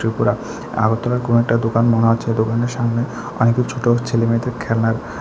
ওরা আগরতলার কোনো একটা দোকান মনে হচ্ছে ওই দোকানের সামনে অনেকগুলি ছোট ছেলেমেয়েদের খেলনা--